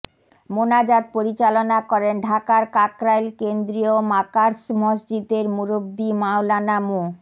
মোনাজাত পরিচালনা করেন ঢাকার কাকরাইল কেন্দ্রীয় মাকার্স মসজিদের মুরুব্বি মাওলানা মো